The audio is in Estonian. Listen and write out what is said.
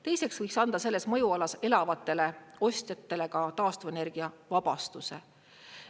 Teiseks, võiks anda selles mõjualas elavatele ostjatele ka taastuvenergia vabastuse.